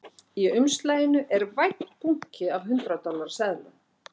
Í umslaginu er vænn bunki af hundrað dollara seðlum